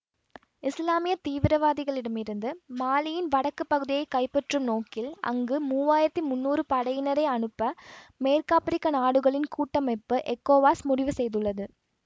இசுலாமிய தீவிரவாதிகளிடம் இருந்து மாலியின் வடக்கு பகுதியை கைப்பற்றும் நோக்கில் அங்கு மூவாயிரத்தி முன்னூறு படையினரை அனுப்ப மேற்காப்பிரிக்க நாடுகளின் கூட்டமைப்பு எக்கோவாஸ் முடிவு செய்துள்ளது